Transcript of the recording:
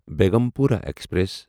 Begampura express